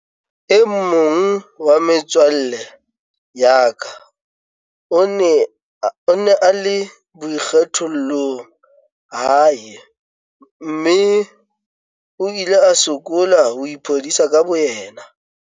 "E mong wa metswalle ya ka o ne a le boikgethollong hae mme o ile a sokola ho iphodisa ka bo yena."